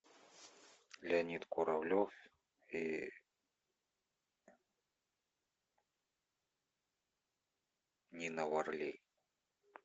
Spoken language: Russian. леонид куравлев и нина варлей